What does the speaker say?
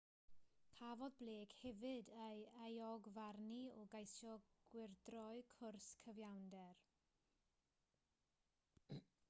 cafodd blake hefyd ei euogfarnu o geisio gwyrdroi cwrs cyfiawnder